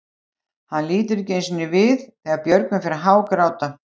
Hann lítur ekki einu sinni við þegar Björgvin fer að hágráta.